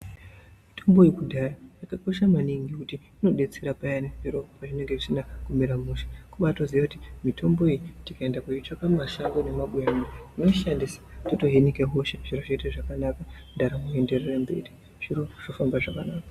Mitombo yekudhaya yakakosha maningi ngekuti inodetsera zviyani zviro pazvinenge zvisina kumira mushe kubatoziva kuti mitombo iyi tikaenda koitsvaka mumashango nemabuya totoishandisa totohinika hosha zviro Zvoita zvakanaka ndaramo yeenderera mberi zviro zvofamba zvakanaka.